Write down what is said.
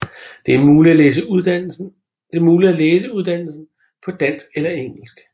Det er muligt at læse uddannelsen på dansk eller engelsk